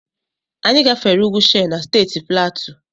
Anyị gafere ugwu Shere na Steeti Platu.